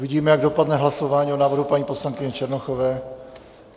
Uvidíme, jak dopadne hlasování o návrhu paní poslankyně Černochové.